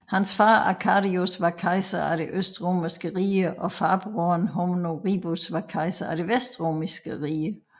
Hans far Arcadius var kejser af det Østromerske rige og farbroderen Honorius var kejser af det Vestromerske rige